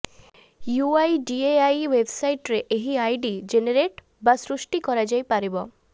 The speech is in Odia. ୟୁଆଇଡିଏଆଇ େଓ୍ବବସାଇଟରେ ଏହି ଆଇଡି ଜେନେରେଟ୍ ବା ସୃଷ୍ଟି କରାଯାଇପାରିବ